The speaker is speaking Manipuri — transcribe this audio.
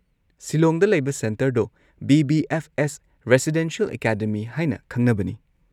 ꯁꯤꯂꯣꯡꯗ ꯂꯩꯕ ꯁꯦꯟꯇꯔꯗꯣ ꯕꯤ.ꯕꯤ.ꯑꯦꯐ.ꯑꯦꯁ. ꯔꯦꯁꯤꯗꯦꯟꯁꯤꯑꯦꯜ ꯑꯦꯀꯥꯗꯃꯤ ꯍꯥꯏꯅ ꯈꯪꯅꯕꯅꯤ꯫